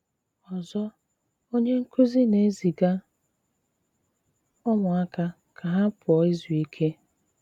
Ọzọ, onye nkúzí ná-ézígá úmụáka ká ha pụọ ízú íké.